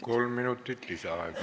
Kolm minutit lisaaega.